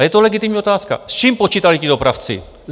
A je to legitimní otázka, s čím počítali ti dopravci?